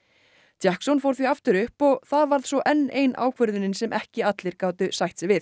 jackson fór svo aftur upp og það varð svo enn ein ákvörðunin sem ekki allir gátu sætt sig við